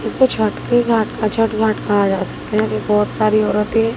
इसपे छठ के घाट का छठ घाट का आया बहोत सारी औरतें--